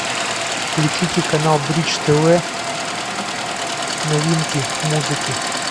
включите канал бридж тв новинки музыки